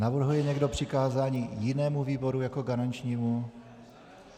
Navrhuje někdo přikázání jinému výboru jako garančnímu?